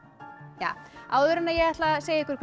ja áður en ég ætla að segja ykkur